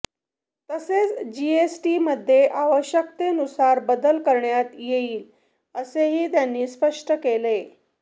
तसेच जीएसटीमध्ये आवश्यकतेनुसार बदल करण्यात येईल असेही त्यांनी स्पष्ट केले